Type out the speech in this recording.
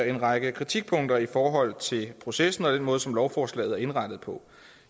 en række kritikpunkter i forhold til processen og den måde som lovforslaget er indrettet på